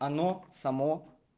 оно само